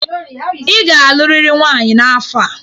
Ị ga-alụrịrị nwaanyị n'afọ a.